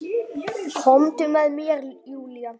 Komdu með mér Júlía.